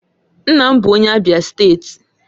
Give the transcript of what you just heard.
Nna m bụ onye Abia steeti